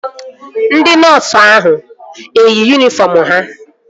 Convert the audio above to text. Ndị nọọsu ahụ eyi yunifọm ha?